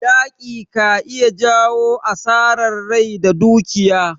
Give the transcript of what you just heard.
Yaƙi ka iya jawo asarar rai da dukiya.